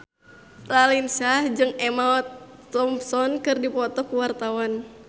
Raline Shah jeung Emma Thompson keur dipoto ku wartawan